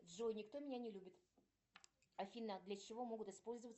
джой никто меня не любит афина для чего могут использоваться